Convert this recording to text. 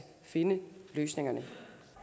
finde løsningerne